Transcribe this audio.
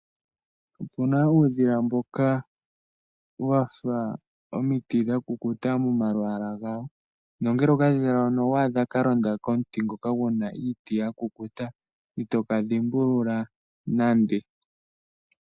Opuna uudhila mboka wafa omiti dha kukuta momalwaala gawo, na ngele okadhila hoka owadha kalonda komuti ngoka guna iiti yakukuta ito kadhimbulula nande